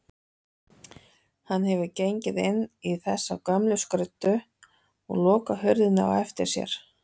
Hann hefur gengið inn í þessar gömlu skruddur og lokað hurðinni á eftir sér.